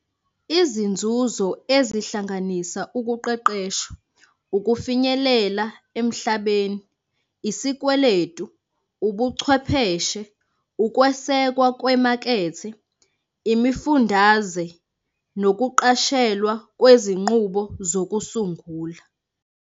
Izinzuzo ezihlanganisa ukuqeqeshwa, ukufinyelela emhlabeni, isikweletu, ubuchwepheshe, ukwesekwa kwemakethe, imifundaze, nokuqashelwa kwezinqubo zokusungula.